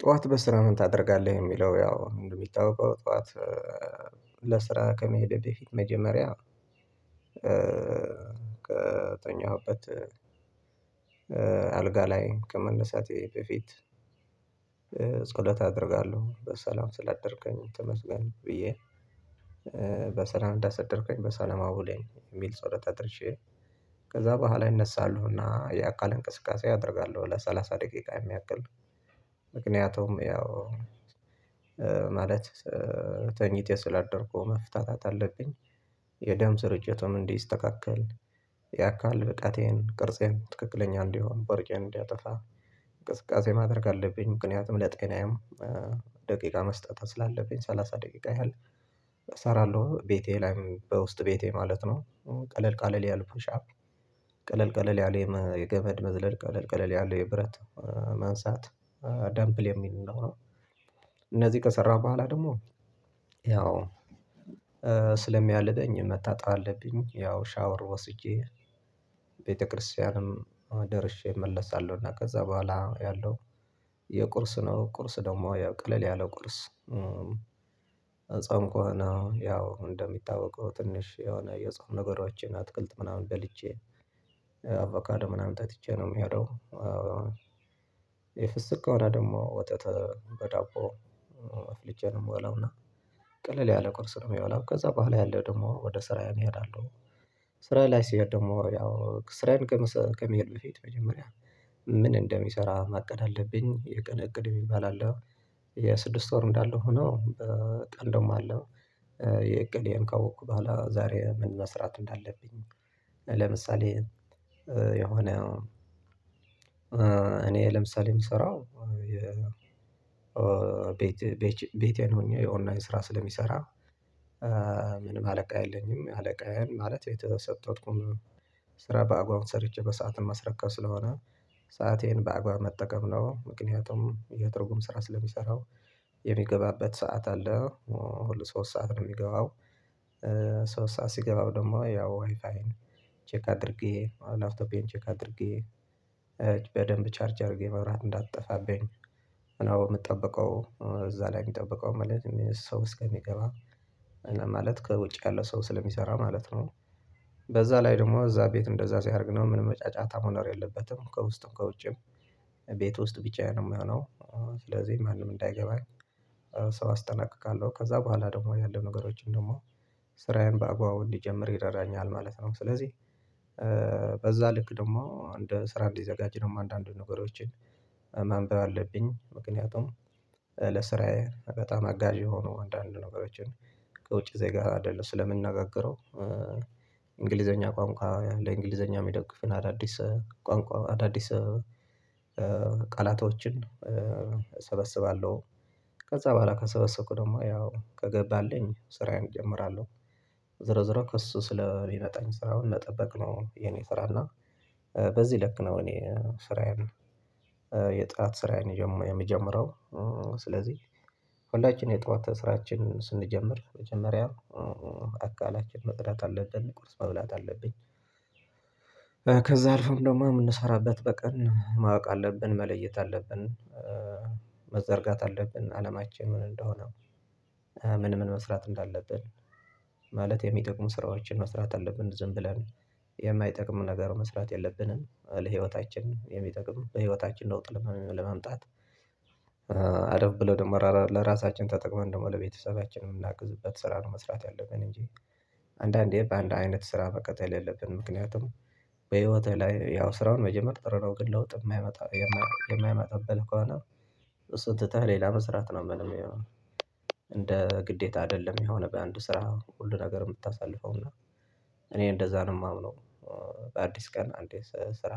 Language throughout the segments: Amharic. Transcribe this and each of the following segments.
ጠዋት በስራ ምን? ታደርጋለህ የሚለው ያው እንደሚታወቀው ጠዋት ለስራ ከመሄዴ በፊት መጀመሪያ። ከተኛሁበት አልጋ ላይ ከመነሳቴ በፊት። ጸሎት አደርጋለሁ በሰላም ስላደርኩኝ ተመስገን ብዬ በሰላም እንዳሰደርከኝ በሰላም አውለኝ የሚል ጸሎታ አድርሼ። ከዛ በኋላ ይነሳሉና የአካል እንቅስቃሴ አደርጋለሁ ለሠላሳ ደቂቃ የሚያክል። ምክንያቱም ያው ማለት ተኝቼ ስላደርኩ መፍታታት አለብኝ። የደም ስርጭትም እንዲስተካከል የአካል ብቃቴን ቅርጼን ትክክለኛ እንዲሆን ቦርጬን እንዲያጠፋ እንቅስቃሴ ማድረግ አለብኝ። ምክንያቱም ለጤናዬም ደቂቃ መስጠት ስላለብኝ ሰላሳ ደቂቃ ያህል እሰራለሁ ቤቴ ላይም በውስጥ ቤቴ ማለት ነው። ቀለል ቀለል ያለው ፑሻፕ ቀለል ቀለል ያለ የገመድ መዝለል ቀለል ቀለል ያለ የብረት መንሳት ደምፕል የሚል ነው። እነዚህ ከሰራሁ በኋላ ደግሞ ያው ስለሚያልበኝ መታጣብ አለብኝ። ያው ሻወር ወስጄ ቤተክርስቲያንም ደርሼ እመለሳለሁና ከዛ በኋላ ያለው የቁርስ ነው። ቁርስ ደግሞ ያው ቀለል ያለ ቁርስ። ጾም ከሆነ ያው እንደሚታወቀው ትንሽ የሆነ የጾም ነገሮችን አትክልት ምናምን በልቼ አቮካዳ ምናምን ተጥቼ ነው የምሄደው። የፍስክ ከሆነ ደግሞ ወተት በዳቦ ልጄን እሞላውላና ቀለል ያለ ቁርስ ነው የሚበላው። ከዛ በኋላ ያለው ደግሞ ወደ ስራየ እሄዳለሁ። ስራ ላይ ስሄድ ደግሞ ያው ስራየን ከመሄድ በፊት መጀመሪያ ምን እንደሚሰራ ማቀድ አለብኝ የቀን እቅድ የሚባል አለው። የስድስት ወር እንዳለ ሆኖ ቀን ደሞ አለው። የእቅዴን ካወቅኩ በኋላ ዛሬ ምን መስራት እንዳለብኝ። ለምሳሌ የሆነ እኔ ለምሳሌ የምሰራው ቤቴን ሆኜ የኦንላይን ስራ ስለሚሰራ። ምንም አለቃ የለኝም አለቃዬን ማለት የተሰጠሁት ስራ በአግባቡ ሰርቼ በሰአትም ማስረከብ ስለሆነ ሰአቴን በአግባብ መጠቀም ነው። ምክንያቱም የትርጉም ስራ ስለምሰራው የሚገባበት ሰዓት አለ ሁሉ ሶስት ሰዓት ነው የሚገባው። ሶስት ሰዓት ሲገባ ደግሞ ያው ዋይፋይ ቼክ አድርጌ ላብቶፔን ቼክ አድርጌ በደንብ ቻርጅ አድርጌ መብራት እንዳትጠፋብኝ ነው የምጠብቀው እዛ ላይ የሚጠብቀው ማለት ሰው እስከሚገባ ማለት ከውጭ ያለው ሰው ስለሚሰራ ማለት ነው። በዛ ላይ ደግሞ እዛ ቤት እንደዛ ሲያደርግ ነው ምንም መጫጫታ መኖር የለበትም። ከውስጥም ከውጭም ቤት ውስጥ ብቻየን ነው የምሆነው። ስለዚህ ማንም እንዳይገባ ሰው አስጠናቅቃለሁ ከዛ በኋላ ደግሞ ያለ ነገሮችን ደግሞ ስራዬን በአግባቡ እንድጀምር ይረዳኛል ማለት ነው። ስለዚህ በዛ ልክ ደግሞ እንደ ስራ እንዲዘጋጅ ነው አንዳንድ ነገሮችን ማንበብ አለብኝ። ምክንያቱም ለስራዬ በጣም አጋዥ የሆኑ አንዳንድ ነገሮችን ከውጪ ዜጋ አደል ስለምንናገረው። እንግሊዘኛ ቋንቋ ለእንግሊዘኛ የሚደግፍን አዳዲስ ቋንቋ አዳዲስ ቃላቶችን እሰበስባለሁ። ከዛ በኋላ ከሰበሰብኩ ደግሞ ያው ከገባልኝ ስራዬን እጀምራለሁ። ዝርዝር ከእሱ ስለሚመጣኝ ስራውን መጠበቅ ነው የኔ ስራ እና በዚህ ልክ ነው እኔ ስራዬን የጥራት ስራዬን የምጀምረው። ስለዚህ ሁላችን የጠዋት ስራችን ስንጀምር መጀመሪያ አካላችን መጥራት አለብን ቁርስ መብላት አለብን። ከዛ አልፈን ደግሞ የምንሰራበት በቀን ማወቅ አለብን መለየት አለብን። መዘርጋት አለብን አላማችን ምን እንደሆነ ምን ምን መስራት እንዳለብን ማለት የሚጠቅሙ ስራዎችን መስራት አለብን። ዝም ብለን የማይጠቅም ነገር መስራት የለብንም። ለህይወታችን የሚጠቅም በህይወታችን ለውጥ ለመምጣት አደብ ብሎ ደግሞ ለራሳችን ተጠቅመን ደግሞ ለቤተሰባችን የምናግዝበት ስራ ነው። መስራት ያለብን እንጂ አንዳንዴ በአንድ አይነት ስራ መቀጠል የለብንም። ምክንያቱም በህይወትህ ላይ ያው ስራውን መጀመሪያ ጥሩ ነው። ግን ለውጥ የማያመጣ የማያመጣበት ከሆነ። እሱን ትተህ ሌላ መስራት ነው ምንም የሚለው። እንደ ግዴታ አይደለም የሆነ በአንድ ስራ ሁሉ ነገር የምታሳልፈው እና እኔ እንደዛ ነው የማምነው። በአዲስ ቀን አንዴ ስራ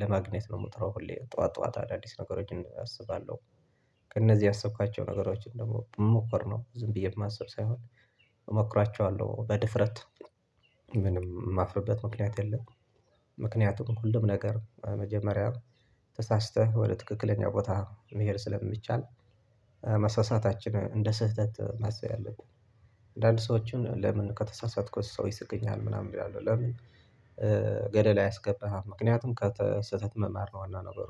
ለማግኘት ነው የምጥረው ሁሌ ጠዋት ጠዋት አዳዲስ ነገሮችን አስባለሁ። ከእነዚህ ያሰብኳቸው ነገሮችን ደግሞ መሞክር ነው። ዝም ብዬ ማስብ ሳይሆን እሞክራቸዋለሁ በድፍረት ምንም የማፍርበት ምክንያት የለም። ምክንያቱም ሁሉም ነገር መጀመሪያ ተሳስተህ ወደ ትክክለኛ ቦታ መሄድ ስለሚቻል። መሳሳታችን እንደ ስህተት ማሰብ ያለብን። አንዳንድ ሰዎችን ለምን ከተሳሳትኩት ሰው ይስቀኛል ምናምን ይላሉ። ለምን? ገደል አያስገባህም ምክንያቱም ከስህተት መማር ነው ዋና ነገር